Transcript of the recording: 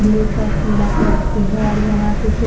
black और पीला colour के है और यहाँ पे कु --